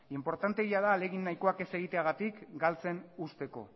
inportanteegia da ahalegin nahikoak ez egiteagatik galtzen uzteko